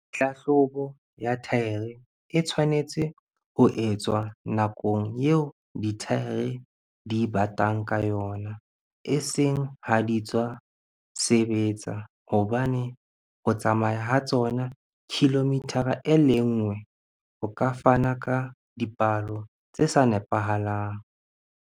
Hlahlobo ya thaere e tshwanetse ho etswa nakong eo dithaere di batang ka yona, eseng ha di tswa sebetsa hobane ho tsamaya ha tsona kilomithara e le nngwe ho ka fana ka dipalo, tse sa nepahalang.